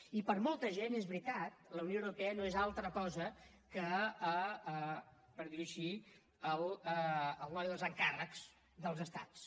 i per a molta gent és veritat la unió europea no és altra cosa que per dir ho així el noi dels encàrrecs dels estats